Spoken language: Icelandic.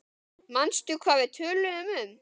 Manstu hvað við töluðum um?